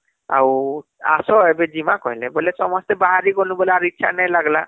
ଆଉ ଆସ ଏବେ ଜିମା କହିଲେ ବୋଲେ ସମସ୍ତେ ବାହାରି ଗଲୁ ବୋଲେ ଆର ଇଛା ନାଇଁ ଲାଗିଲା